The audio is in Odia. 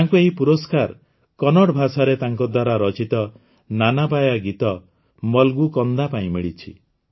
ତାଙ୍କୁ ଏହି ପୁରସ୍କାର କନ୍ନଡ଼ ଭାଷାରେ ତାଙ୍କଦ୍ୱାରା ରଚିତ ନାନାବାୟା ଗୀତ ମଲଗୁ କନ୍ଦା ପାଇଁ ମିଳିଛି